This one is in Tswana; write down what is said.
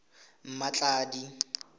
mmatladi